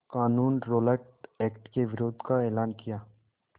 क़ानून Rowlatt act के विरोध का एलान किया